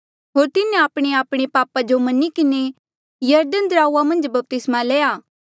होर तिन्हें आपणेआपणे पापा जो मनी किन्हें यरदन दराऊआ मन्झ बपतिस्मा लया